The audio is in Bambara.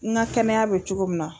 N ka kɛnɛya bɛ cogo min na.